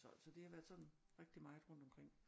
Så så det har været sådan rigtig meget rundt omkring